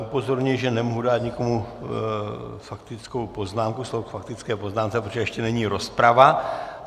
Upozorňuji, že nemohu dát nikomu faktickou poznámku, slovo k faktické poznámce, protože ještě není rozprava.